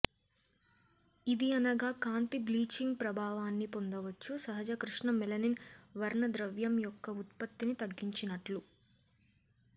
ఇది అనగా కాంతి బ్లీచింగ్ ప్రభావాన్ని పొందవచ్చు సహజ కృష్ణ మెలనిన్ వర్ణద్రవ్యం యొక్క ఉత్పత్తిని తగ్గించినట్లు